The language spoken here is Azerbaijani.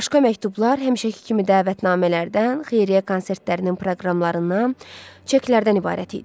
Başqa məktublar həmişəki kimi dəvətnamələrdən, xeyriyyə konsertlərinin proqramlarından, çeklərdən ibarət idi.